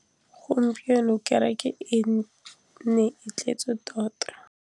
Gompieno kêrêkê e ne e tletse tota.